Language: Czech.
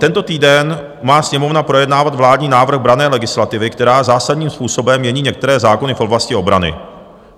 Tento týden má Sněmovna projednávat vládní návrh branné legislativy, která zásadním způsobem mění některé zákony v oblasti obrany.